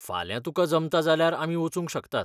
फाल्यां तुकां जमता जाल्यार आमी वचूंक शकतात.